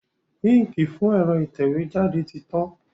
Íǹkì fún ẹ̀rọ ìtẹ̀wé jáde ti tán.